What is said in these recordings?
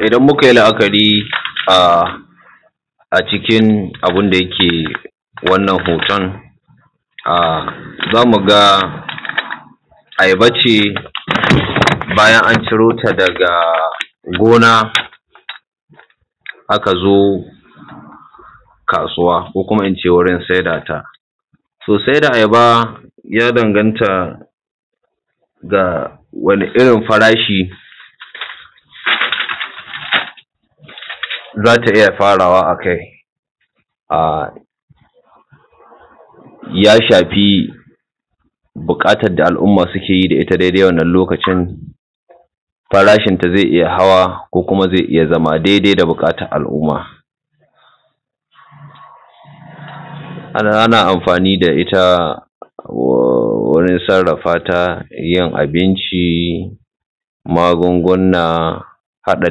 Idan mu kai la’akari a cikin abun da yake wannan hoton, za mu ga ayaba ce bayan an ciro ta daga gona, aka zo kasuwa ko kuma in ce wurin saida ta. To saida ayaba ya danganta ga wani irin farashi za ta iya farawa a kai. Ya shafi buƙatan da al'umma suke yi da ita dai dai wannan lokacin, farashin ta zai iya hawa ko kuma zai iya zama dai dai da buƙatar al’umma. Ana amfani da ita wajan sarrafa ta yin abinci, magunguna, haɗa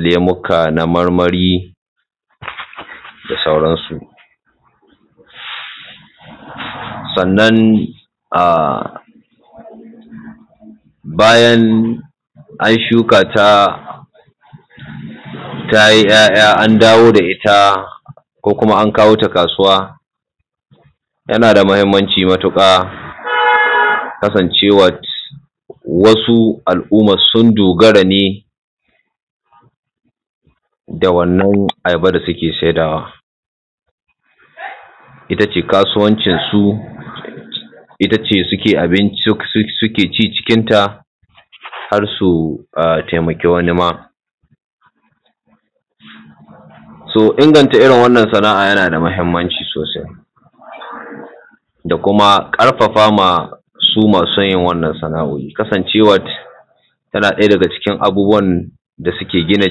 lemuka na marmari da sauran su. Sannan bayan an shuka ta tayi 'ya'ya an dawo da ita, ko kuma an kawo ta kasuwa tana da muhimmanci matuƙa kasancewan wasu al'umma sun dogara ne da wannan ayaba da suke saida wa, ita ce kasuwancin su, ita ce suke abinci suke ci cikin ta har su taimaki wani ma. To inganta irin wannan sana'a yana da muhimmanci sosai da kuma ƙarfafa ma su masu yin wannan sana'oi kasancewar tana ɗaya daga cikin abubuwan da suke gina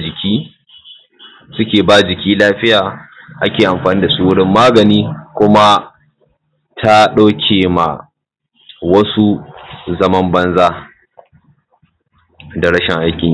jiki, suke ba jiki lafiya, ake amfani da su wurin magani. Kuma ta ɗauke ma wasu zaman banza da rashin aikin yi.